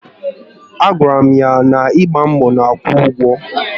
A gwara m ya na ịgba mbọ na-akwụ ụgwọ